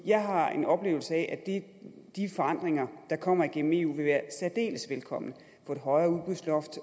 jeg har en oplevelse af at de forandringer der kommer igennem eu vil være særdeles velkomne få et højere udbudsloft